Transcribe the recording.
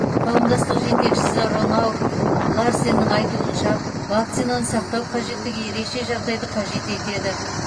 қауымдастық жетекшісі роннауг ларсеннің айтуынша вакцинаны сақтау қажеттігі ерекше жағдайды қажет етеді